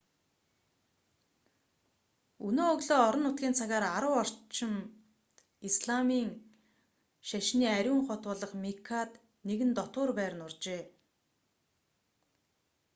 өнөө өглөө орон нутгийн цагаар 10 цаг орчимд исламын шашны ариун хот болох меккад нэгэн дотуур байр нуржээ